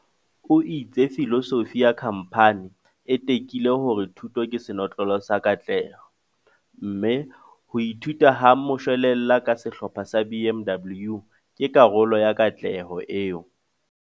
O itse filosofi ya khamphani e tekile hore thuto ke senotlolo sa katleho, mme "ho ithuta ha moshwelella ka Sehlopha sa BMW ke karolo ya katleho eo".